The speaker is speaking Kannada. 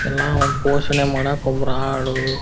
ಎಲ್ಲ ಪೋಷಣೆ ಮಾಡಕ್ ಒಂದು ಆಳು --